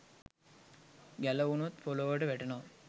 ගැලවුණොත් පොලොවට වැටෙනවා